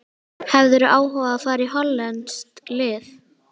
Hefðirðu áhuga á að fara í hollenskt lið?